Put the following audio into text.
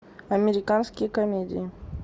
американские комедии